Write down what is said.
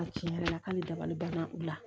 A tiɲɛ yɛrɛ la k'ale dabali banna u la